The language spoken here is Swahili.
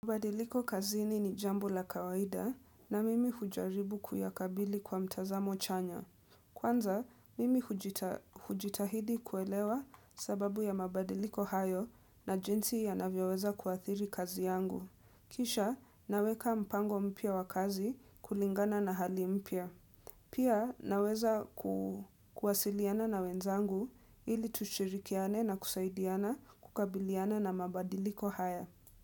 Mabadiliko kazini ni jambo la kawaida na mimi hujaribu kuyakabili kwa mtazamo chanya. Kwanza, mimi hujitahidi kuelewa sababu ya mabadiliko hayo na jinsi yanavyoweza kuathiri kazi yangu. Kisha, naweka mpango mpya wa kazi kulingana na hali mpya. Pia, naweza kuwasiliana na wenzangu ili tushirikiane na kusaidiana kukabiliana na mabadiliko haya.